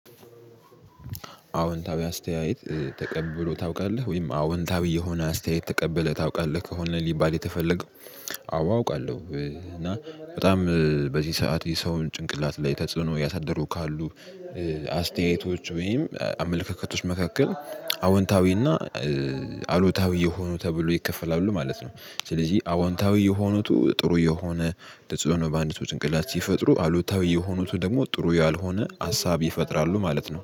አወንታዊ አስተያየት ተቀብሎ ታውቃለህ ወይም አወንታዊ የሆነ አስተያየት ተቀብለህ ታውቃለህ ከሆነ ሊባል የተፈለገው? አዎ አውቃለሁ እና በጣም በዚህ ሰዓት የሰውን ጭንቅላት ላይ ተጽዕኖ ያሳደሩ ካሉ አስተያየቶች ወይም አመለካከቶች መካከል አዎንታዊ እና አሉታዊ የሆኑ ተብሎ ይከፈላሉ ማለት ነው። ስለዚህ አዎንታዊ የሆኑት ጥሩ የሆነ ተጽዕኖ በአንድ ውስጥ ጭንቅላት ሲፈጥሩ አሉታዊ የሆኑት ደግሞ ጥሩ ያልሆነ ሀሳብ ይፈጥራሉ ማለት ነው